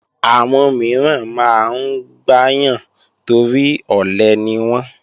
Àwọn mìíràn máa ń gbáyàn torí ọ̀lẹ niwọ́n